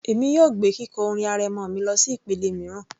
Èmi yóò gbé kíkọ orin arẹmọ mi lọsí ìpele mìíràn